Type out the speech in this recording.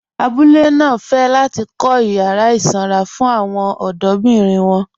Àbúlé náà fẹ́ láti kọ̀ yàrà isanra fún awọn ọdọ̀birin wọn